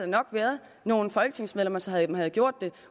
nok været nogle folketingsmedlemmer som havde havde gjort det